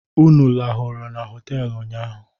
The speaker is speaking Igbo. Unu lahụrụ na họtelụ ụnyaahụ?